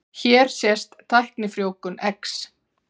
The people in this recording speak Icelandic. Hér sést tæknifrjóvgun eggs.